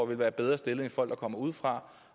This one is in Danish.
vil være bedre stillet end folk der kommer udefra